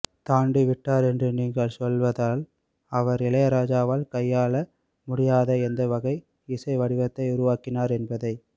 தாண்டிவிட்டார் என்று நீங்கள் சொல்வதானால் அவர் இளையராஜாவால் கையாள முடியாத எந்த வகை இசை வடிவத்தை உருவாக்கினார் என்பதை